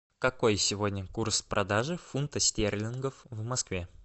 какой сегодня курс продажи фунтов стерлингов в москве